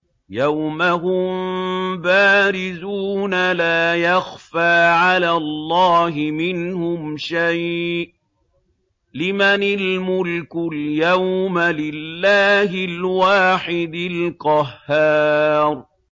يَوْمَ هُم بَارِزُونَ ۖ لَا يَخْفَىٰ عَلَى اللَّهِ مِنْهُمْ شَيْءٌ ۚ لِّمَنِ الْمُلْكُ الْيَوْمَ ۖ لِلَّهِ الْوَاحِدِ الْقَهَّارِ